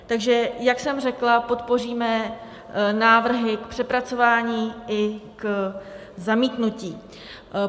Takže jak jsem řekla, podpoříme návrhy k přepracování i k zamítnutí.